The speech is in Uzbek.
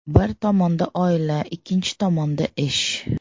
Bir tomonda oila, ikkinchi tomonda ish.